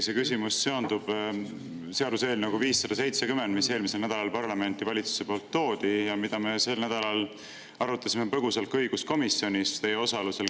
See küsimus seondub seaduseelnõuga 570, mis eelmisel nädalal parlamenti valitsuse poolt toodi ja mida me sel nädalal arutasime põgusalt ka õiguskomisjonis teie osalusel.